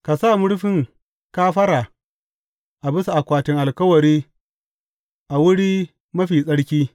Ka sa murfin kafara a bisa akwatin alkawari a Wuri Mafi Tsarki.